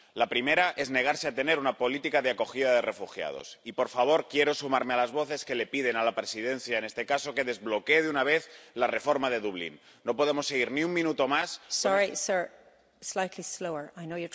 El primero es negarse a tener una política de acogida de refugiados. Y, por favor, quiero sumarme a las voces que piden a la Presidencia, en este caso, que desbloquee, de una vez, la reforma del sistema de Dublín.